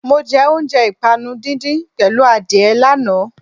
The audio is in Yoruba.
Mọ jẹ oúnjẹ ìpànu díndín pẹ̀lú adìẹ lánàá.